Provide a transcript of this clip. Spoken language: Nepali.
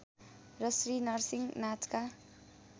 र श्री नरसिंह नाचका